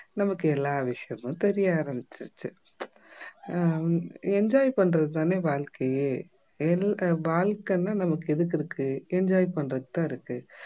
நமக்கு எல்லா விஷயமும் தெரிய ஆரம்பிச்சிடுச்சு ஹம் enjoy பண்றது தானே வாழ்க்கையே வாழ்க்கைனா நமக்கு எதுக்கு இருக்கு enjoy பண்றதுக்கு தான் இருக்கு